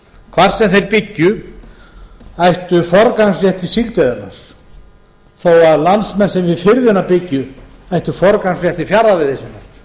hvar sem þeir byggju ættu forgangsrétt til síldveiðinnar þó að landsmenn sem við firðina byggju ættu forgangsrétt til fjarða veiði